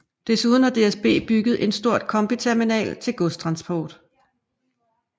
Desuden har DSB bygget en stor kombiterminal til godstransport